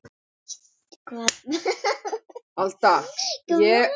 En eitt var á hreinu.